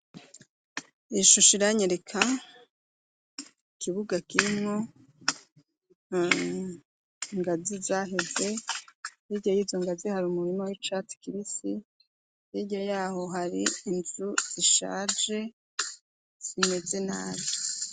Ishusho iranyereka ikibuga kimwo ingazi zaheze ,hirya y'izo ngazi hari umurima w'icatsi kibisi, hirya yaho hari inzu zishaje zimeze nabi.